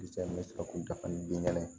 n bɛ sɔrɔ k'u dafa ni bin kɛnɛ